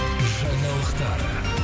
жаңалықтар